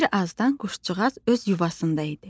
Bir azdan quşcuğaz öz yuvasında idi.